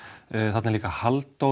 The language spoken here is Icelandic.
þarna er líka Halldór